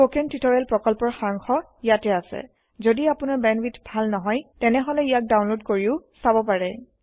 spoken tutorial প্ৰকল্পৰ সাৰাংশ ইয়াত আছে যদি আপোনাৰ বেণ্ডৱিডথ ভাল নহয় তেনেহলে ইয়াক ডাউনলোড কৰি চাব পাৰে